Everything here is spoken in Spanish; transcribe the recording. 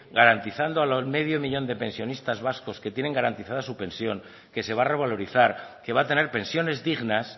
garantizando al medio millón de pensionistas vascos que tienen garantizada su pensión que se va a revalorizar que va a tener pensiones dignas